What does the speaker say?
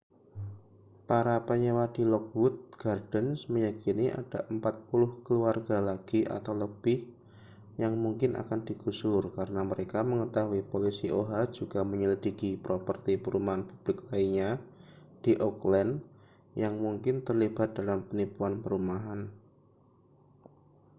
para penyewa di lockwood gardens meyakini ada 40 keluarga lagi atau lebih yang mungkin akan digusur karena mereka mengetahui polisi oha juga menyelidiki properti perumahan publik lainnya di oakland yang mungkin terlibat dalam penipuan perumahan